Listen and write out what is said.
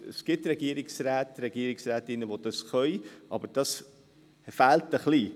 Es gibt Regierungsräte und Regierungsrätinnen, die das können, aber das fehlt ein wenig.